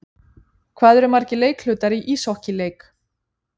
Hvað eru margir leikhlutar í íshokkíleik?